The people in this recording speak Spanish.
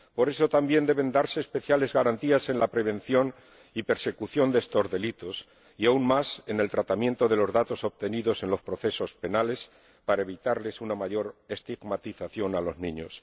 Por eso también deben darse especiales garantías en la prevención y persecución de estos delitos, y aún más en el tratamiento de los datos obtenidos en los procesos penales, para evitarles una mayor estigmatización a los niños.